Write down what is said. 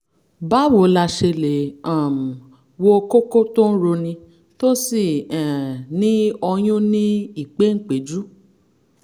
báwo la ṣe lè um wo kókó tó ń roni tó sì um ní ọyún ní ìpéǹpéjú?